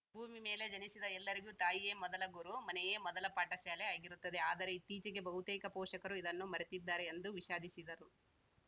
ಭೂಮಿ ಮೇಲೆ ಜನಿಸಿದ ಎಲ್ಲರಿಗೂ ತಾಯಿಯೇ ಮೊದಲ ಗುರು ಮನೆಯೇ ಮೊದಲ ಪಾಠಶಾಲೆ ಆಗಿರುತ್ತದೆ ಆದರೆ ಇತ್ತೀಚೆಗೆ ಬಹುತೇಕ ಪೋಷಕರು ಇದನ್ನು ಮರೆತಿದ್ದಾರೆ ಎಂದು ವಿಷಾದಿಸಿದರು